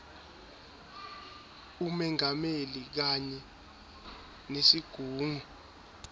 umengameli kanye nesigungu